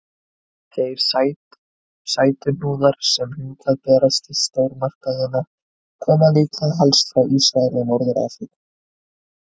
Þeir sætuhnúðar sem hingað berast í stórmarkaðina koma líklega helst frá Ísrael og Norður-Afríku.